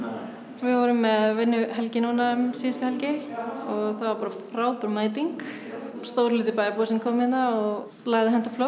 við vorum með vinnuhelgi núna um síðustu helgi og það var bara frábær mæting stór hluti bæjarbúa kom hérna og lagði hönd á plóg